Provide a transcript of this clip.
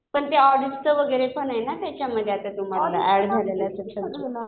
पण ते ऑडिटचं वगैरे पण आहे ना त्याच्यामध्ये आता तुम्हाला ऍड झालेला सेक्शन.